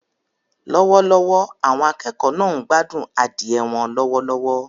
Lọ́wọ́lọ́wọ́, àwọn akẹ́kọ̀ọ́ náà ń gbádùn adìẹ wọn lọ́wọ́lọ́wọ́.